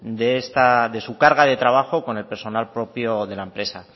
de su carga de trabajo con el personal propio de la empresa